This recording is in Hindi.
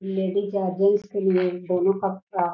लेडीज जेंट्स के लिए दोनों का कपड़ा --